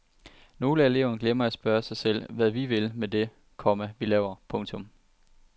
Nogle af eleverne glemmer at spørge sig selv hvad vi vil med det, komma vi laver. punktum